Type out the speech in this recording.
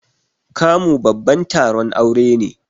Kamu babban taron aure ne.